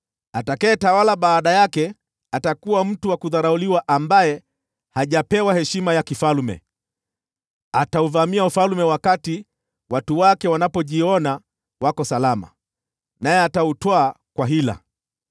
“Atakayetawala baada yake atakuwa mtu wa kudharauliwa ambaye hajapewa heshima ya kifalme. Atauvamia ufalme wakati watu wake wanapojiona wako salama, naye atautwaa kwa hila.